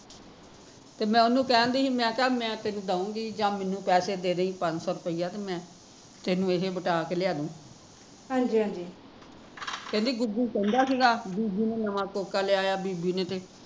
ਤੇ ਮੈਂ ਓਹਨੂ ਕਹਿਣ ਦੀ ਸੀ ਮੈਂ ਕਿਹਾ ਮੈਂ ਤੈਨੂ ਦਊਗੀ ਜਾਂ ਮੈਂਨੂੰ ਪੈਸੇ ਦੇ ਦਈ ਪੰਜ ਸੋ ਰੁੱਪਈਆ ਤੇ ਮੈਂ ਤੈਨੂ ਇਹਦੇ ਵੱਟਾਂ ਕੇ ਲਿਆਦੂ ਕਹਿਦੀ ਗੁਗੂ ਕਹਿੰਦਾ ਸੀਗਾ, ਬੀਬੀ ਨੇ ਨਵਾਂ ਕੋਕਾ ਲਿਆ ਐ ਬੀਬੀ ਨੇ ਤੇ